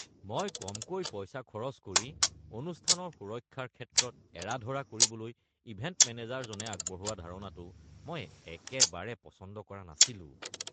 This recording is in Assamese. মই কমকৈ পইচা খৰচ কৰি অনুষ্ঠানৰ সুৰক্ষাৰ ক্ষেত্ৰত এৰা-ধৰা কৰিবলৈ ইভেণ্ট মেনেজাৰজনে আগবঢ়োৱা ধাৰণাটো মই একেবাৰে পচন্দ কৰা নাছিলোঁ।